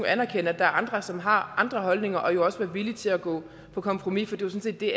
anerkende at der er andre som har andre holdninger og jo også være villig til at gå på kompromis for det det